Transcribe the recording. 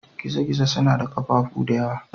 Gizo-gizo suna da ƙafafu da yawa.